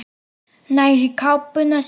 Nær í kápuna sína.